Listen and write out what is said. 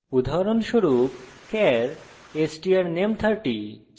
উদাহরণস্বরূপ: char strname 30